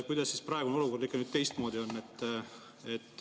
Kuidas praegune olukord teistmoodi on?